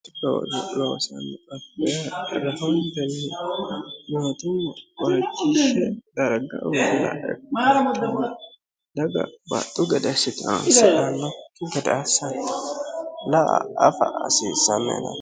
hroji loosanni ate irehomel mtummo oricishe darga uilae daga baxxu gadashshi transirannokki gadaassanni la a afa asiissammeene